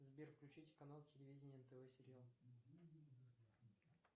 сбер включите канал телевидения нтв сериал